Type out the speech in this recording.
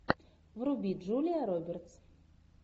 вруби джулия робертс